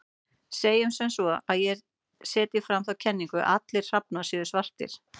Segjum sem svo að ég setji fram þá kenningu að allir hrafnar séu svartir.